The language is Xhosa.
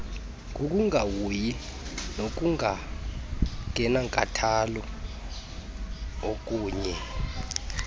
ngokungahoyi nangokungenankathalo okannye